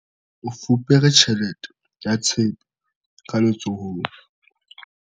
o fupere tjhelete ya tshepe ka letsohong